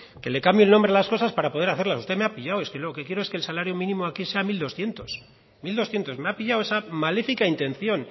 que le cambio el nombre a las cosas para poder hacerlas usted me ha pillado es que lo quiero es que el salario mínimo aquí sea mil doscientos me ha pillado esa maléfica intención